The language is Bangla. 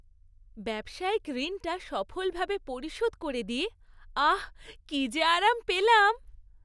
ব্যবসায়িক ঋণটা সফলভাবে পরিশোধ করে দিয়ে, আহ্, কী যে আরাম পেলাম!